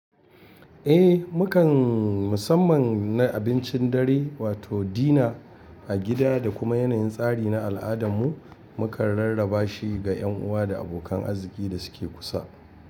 Eh mukan musamman na abincin dare wato dina a gida da kuma yanayin tsari na al'adarmu, mu kan rarraba shi ga yan uwa da abokan arziki da suke kusa.